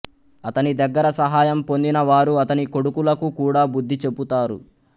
అతని దగ్గర సహాయం పొందిన వారు అతని కొడుకులకు కూడా బుద్ధి చెపుతారు